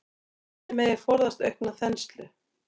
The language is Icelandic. Þannig megi forðast aukna þenslu.